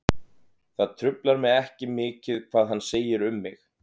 Það truflar mig ekki mikið hvað hann segir um mig.